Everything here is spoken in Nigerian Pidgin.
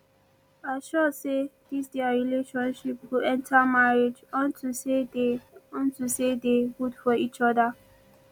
i sure say dis their relationship go enter marriage unto say dey unto say dey good for each other